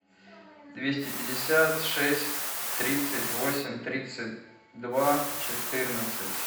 двести пятьдесят шесть тридцать восемь тридцать два четырнадцать